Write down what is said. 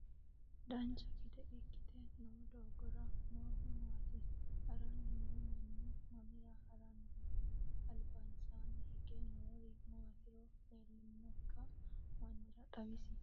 dancha gede ikkite noo doogora noohu maati? haranni noo manni mamira haranni no? albansaanni hige noori maatiro leellinokki mannira xawisi